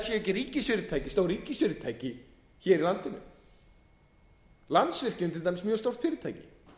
séu ekki stór ríkisfyrirtæki í landinu landsvirkjun er til dæmis mjög stórt fyrirtæki